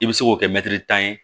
I bɛ se k'o kɛ tan ye